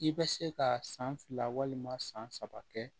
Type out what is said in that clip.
I bɛ se ka san fila walima san saba kɛ